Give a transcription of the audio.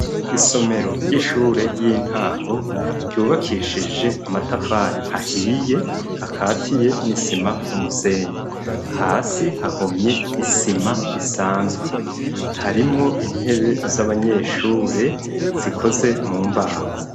Isomero ry'ishure y'intango ryubakishije amatafari ahiye akatiye n'isima n'umusenyi. Hasi hahomye isima isanzwe harimwo intebe z'abanyeshure zikoze mu mbaho.